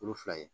Kulu fila ye